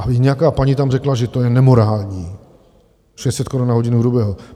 A nějaká paní tam řekla, že to je nemorální - 600 korun na hodinu hrubého.